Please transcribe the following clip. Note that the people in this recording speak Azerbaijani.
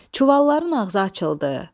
Çuvalların ağzı açıldı.